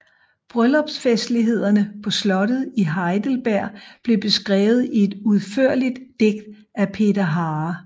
Bryllupsfestlighederne på slottet i Heidelberg blev beskrevet i et udførligt digt af Peter Harer